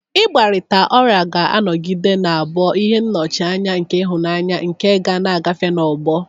Igbarita ola ga-anọgide na-abụ ihe nnọchianya nke ịhụnanya nke a ga-agafe n'ọgbọ..